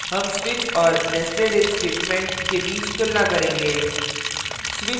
हम switch और nestedif statements के बीच तुलना करेंगे